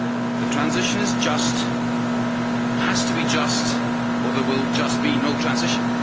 The transition is just has to be just or there will just be no transition.